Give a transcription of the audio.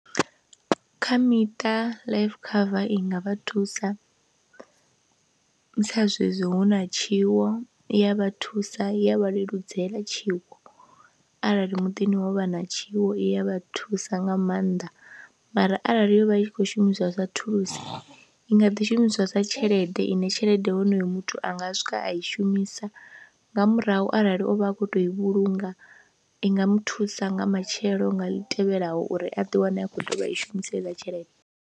Kha miṱa life cover i nga vha thusa sa zwezwi hu na tshiwo, i ya vha thusa ya vha leludzela tshiwo arali muḓini ho vha na tshiwo, i ya vha thusa nga maanḓa mara arali yo vha i khou shumiswa sa thulusi i nga ḓi shumiswa sa tshelede ine tshelede honoyo muthu a nga swika a i shumisa nga murahu arali o vha a khou tou i vhulunga i nga mu thusa nga matshelo nga ḽi tevhelaho uri a ḓiwane a khou i shumisa heiḽa tshelede.